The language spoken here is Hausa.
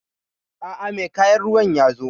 aa, mai kayan ruwan yazo